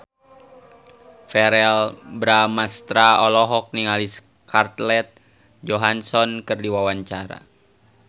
Verrell Bramastra olohok ningali Scarlett Johansson keur diwawancara